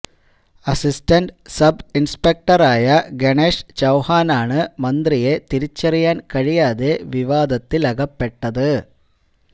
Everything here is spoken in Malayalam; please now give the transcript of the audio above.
അസിസ്റ്റന്റ് സബ് ഇൻസ്പെക്ടറായ ഗണേഷ് ചൌഹാനാണ് മന്ത്രിയെ തിരിച്ചറിയാൻ കഴിയാതെ വിവാദത്തിലകപ്പെട്ടത്